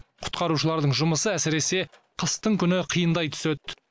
құтқарушылардың жұмысы әсіресе қыстың күні қиындай түседі